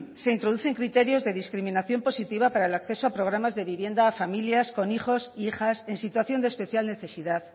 se introducen criterios de discriminación positiva para el acceso a programas de vivienda a familias con hijos e hijas en situación de especial necesidad